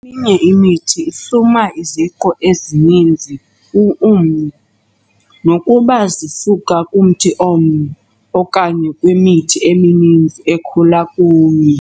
inye imithi ihluma iziqu ezininzi umnye, nokuba zisuka kumthi omnye okanye kwimithi emininzi, ekhula kunye.